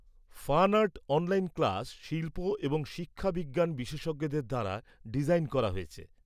Fan art online class শিল্প এবং শিক্ষাবিজ্ঞান বিশেষজ্ঞদের দ্বারা ডিজাইন করা হয়েছে।